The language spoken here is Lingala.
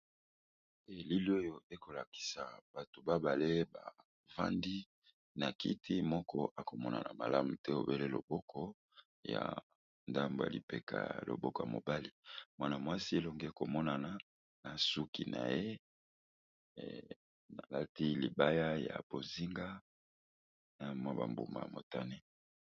Elili oyo ekolakisa bato babale bafandi na kiti moko akomonana malamu te obele loboko ya ndambo yalipeka yaa loboko mobali mwanamwasi elonge komonana na suki na ye alati libaya ya bozinga na mwa bambuma motane.